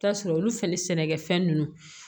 Taa sɔrɔ olu fɛnɛ sɛnɛkɛfɛn ninnu